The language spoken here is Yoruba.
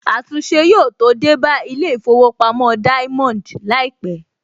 Àtúnṣe yóò tó dé bá Ilé ìfowópamọ́ Diamond láìpẹ̀